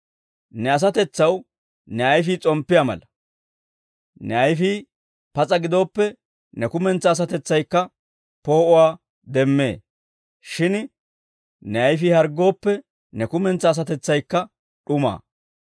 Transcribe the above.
Ne asatetsaw ne ayfii s'omppiyaa mala; ne ayfii pas'a gidooppe ne kumentsaa asatetsaykka poo'uwaa demmee; shin ne ayfii harggooppe ne kumentsaa asatetsaykka d'umaa.